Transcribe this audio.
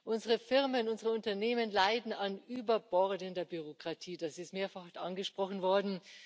Unsere Firmen, unsere Unternehmen leiden an überbordender Bürokratie, das ist mehrfach angesprochen worden.